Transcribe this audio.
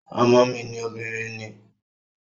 Ọmọ mi obìnrin ni